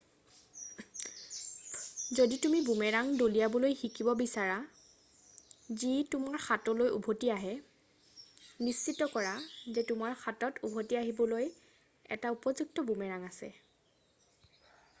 যদি তুমি বুমেৰাং দলিয়াবলৈ শিকিব বিচৰা যি তোমাৰ হাতলৈ উভটি আহে নিশ্চিত কৰা যে তোমাৰ হাতত উভতি আহিবলৈ এটা উপযুক্ত বুমেৰাং আছে